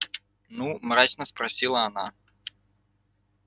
ну мрачно спросила она